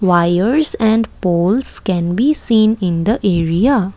wires and poles can be seen in the area.